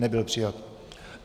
Nebyl přijat.